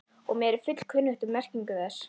og er mér fullkunnugt um merkingu þess.